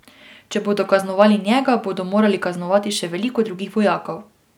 Če bodo kaznovali njega, bodo morali kaznovati še veliko drugih vojakov.